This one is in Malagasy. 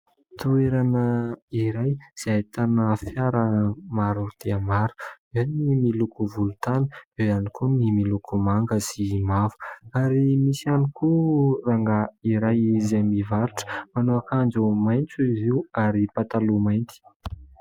Toerana iray izay ahitana fiara maro dia maro, eo ny miloko volontany, eo ihany koa ny miloko manga sy mavo. Ary misy ihany koa rangahy iray izay mivarotra, manao akanjo maitso izy io ary pataloha mainty.